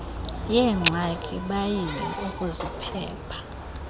yeengxaki bayile ukuziphepha